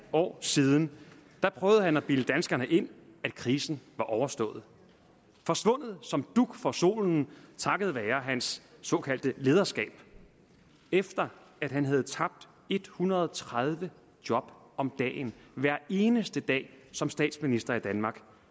år siden da prøvede han at bilde danskerne ind at krisen var overstået forsvundet som dug for solen takket være hans såkaldte lederskab efter at han havde tabt en hundrede og tredive job om dagen hver eneste dag som statsminister i danmark